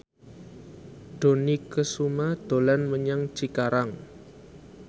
Dony Kesuma dolan menyang Cikarang